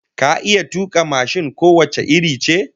Ka iya tuka mashin ko wace iri ce?